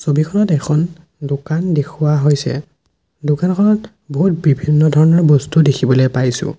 ছবিখনত এখন দোকান দেখুওৱা হৈছে দোকানখনত বহুত বিভিন্ন ধৰণৰ বস্তু দেখিবলে পাইছোঁ।